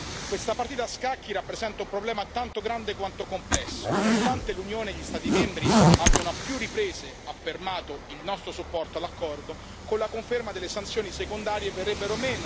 Nonostante l'Unione e gli Stati membri abbiano a più riprese affermato il nostro supporto all'accordo, con la conferma delle sanzioni secondarie verrebbero meno gli incentivi economici per l'Iran, che infatti ha minacciato di uscire a sua volta.